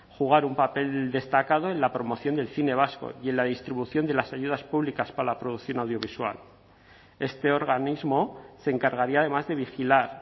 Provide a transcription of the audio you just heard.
jugar un papel destacado en la promoción del cine vasco y en la distribución de las ayudas públicas para la producción audiovisual este organismo se encargaría además de vigilar